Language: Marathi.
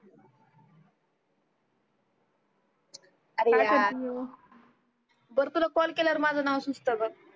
बर तुला कॉल केल्यावर माझ नाव सुचत ग